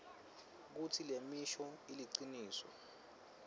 kutsi lemisho iliciniso